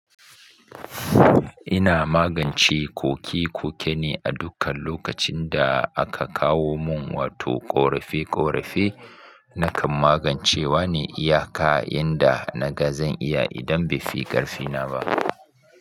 Ina magance koke-koke ne a dukkan lokacin da aka kawo mun wato ƙorafe-ƙorafe nakan magance wa ne iyaka inda naga zan iya idan bai fi ƙarfina ba.